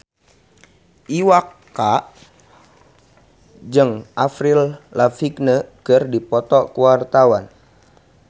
Iwa K jeung Avril Lavigne keur dipoto ku wartawan